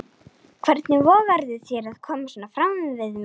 Hvernig vogarðu þér að koma svona fram við mig!